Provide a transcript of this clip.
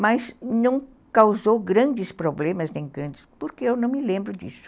Mas não causou grandes problemas, nem grandes, porque eu não me lembro disso.